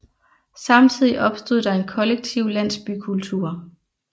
Samtidigt opstod der en kollektiv landsbykultur